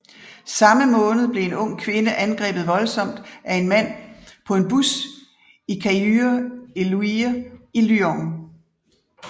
Samme måned blev en ung kvinde angrebet voldsomt af en mand på en bus i Caluire et Luire i Lyon